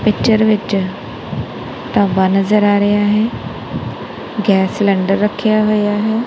Picture ਵਿੱਚ ਢਾਬਾ ਨਜ਼ਰ ਆ ਰਿਹਾ ਹੈ ਗੈਸ ਸਿਲੰਡਰ ਰੱਖਿਆ ਹੋਇਆ ਹੈ।